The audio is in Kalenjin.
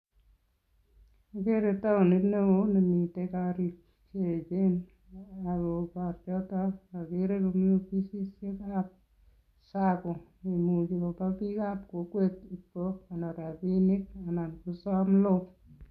Kikere taonit neo nemite korik cheechen ako korchoto akere komi ofisisiekab sacco neimuchi kopaa bikab kokwet kokonor rapinik ana kosom loan.